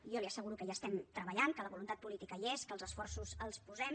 jo li asseguro que hi estem treballant que la voluntat política hi és i que els esforços els posem